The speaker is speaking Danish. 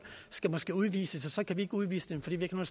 skal måske udvises og så kan vi ikke udvise dem fordi vi ikke har